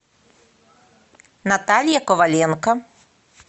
наталья коваленко